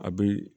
A bɛ